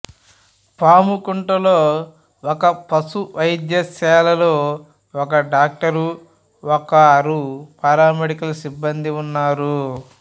పాముకుంటలో ఉన్న ఒక పశు వైద్యశాలలో ఒక డాక్టరు ఒకరు పారామెడికల్ సిబ్బందీ ఉన్నారు